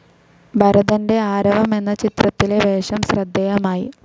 ഭരതന്റെ ആരവം എന്ന ചിത്രത്തിലെ വേഷം ശ്രദ്ധേയമായി.